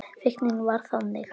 Fíknin var þannig.